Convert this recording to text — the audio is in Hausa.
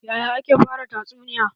Yaya ake fara tatsuniya?